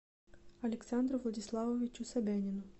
александру владиславовичу собянину